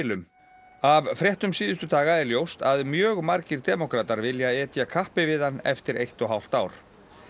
um af fréttum síðustu daga er ljóst að mjög margir demókratar vilja etja kappi við hann eftir eitt og hálft ár